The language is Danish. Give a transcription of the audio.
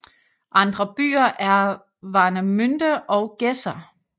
Andre byer er Warnemünde og Gedser